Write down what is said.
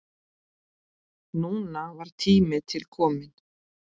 Núna var tími til kominn.